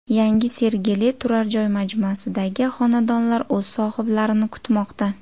Yangi Sergeli turar joy majmuasidagi xonadonlar o‘z sohiblarini kutmoqda.